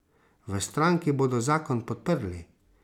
V stranki bodo zakon podprli.